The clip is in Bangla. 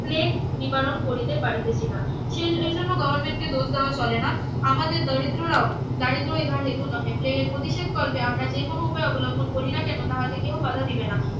প্লেগ নিবারন করিতে পারিতেছিনা সে এই জন্য গভর্নমেন্ট কে দোষ দেওয়া চলে না আমাদের দরিদ্ররাও দারিদ্র ইহার হেতু নহে প্লেগের প্রতিষেধ কল্পে আমরা যে কোনো উপায়ে অবলম্বন করিনা কেন তাহে কেউ বাধা দিবে না